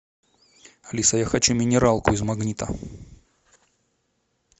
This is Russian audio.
алиса я хочу минералку из магнита